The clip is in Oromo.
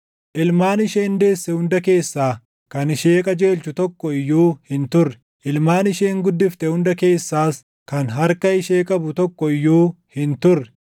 Ilmaan isheen deesse hunda keessaa, kan ishee qajeelchu tokko iyyuu hin turre; ilmaan isheen guddifte hunda keessaas, kan harka ishee qabu tokko iyyuu hin turre.